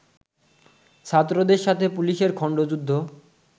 ছাত্রদের সাথে পুলিশের খন্ডযুদ্ধ